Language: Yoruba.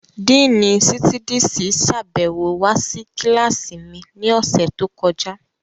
Díìnì Sítídísì sàbẹ̀wo wá sí kílásì mi ní ọ̀sẹ̀ tó kọjá